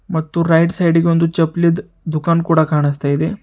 ಮತ್ತು right side ಗೆ ಒಂದು ಚಪ್ಲಿ ದು ದುಖಾನ್ ಕೂಡ ಕಾಣಿಸ್ತಾ ಇದೆ.